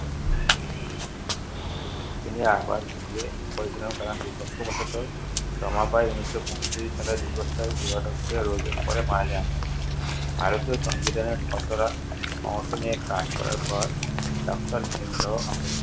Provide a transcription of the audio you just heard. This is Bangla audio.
তিনি আবার বিয়ে করেছিলেন কারণ দুর্ভাগ্যবশতঃ রমাবাঈ ঊনিশশো পঁয়ত্রিশ সালে দীর্ঘস্থায়ী দুরারোগ্য রোগে পরে মারা যান। ভারতীয় সংবিধানের খসড়া নিয়ে কাজ করার পর doctor ভীমরাও আম্বেদকর